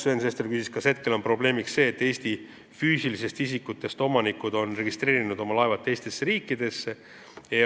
Sven Sester küsis, kas praegu on probleemiks see, et Eesti füüsilisest isikust omanikud on oma laevad teistesse riikidesse registreerinud.